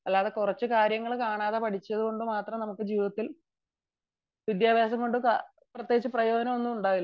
അല്ലാതെ കുറച്ചു കാര്യങ്ങൾ കാണാതെ പഠിച്ചത് കൊണ്ട് വിദ്യാഭ്യാസം കൊണ്ട് പ്രത്യേകിച്ച് പ്രയോജനമൊന്നും ഉണ്ടാവില്ല